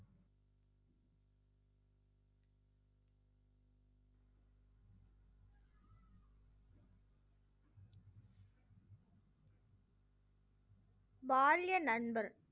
பால்ய நண்பர்